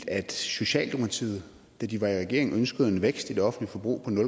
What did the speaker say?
at socialdemokratiet da de var i regering ønskede en vækst i det offentlige forbrug